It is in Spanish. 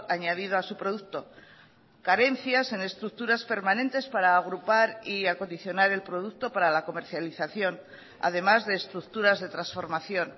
añadido a su producto carencias en estructuras permanentes para agrupar y acondicionar el producto para la comercialización además de estructuras de transformación